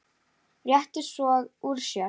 Rétti svo úr sér.